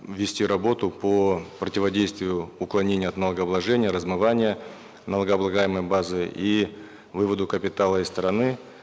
вести работу по противодействию уклонению от налогообложения размывания налогооблагаемой базы и выводу капитала из страны